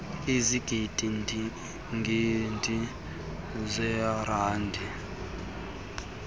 ezigidi gidi zeerandi